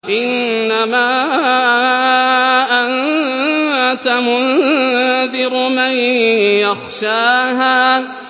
إِنَّمَا أَنتَ مُنذِرُ مَن يَخْشَاهَا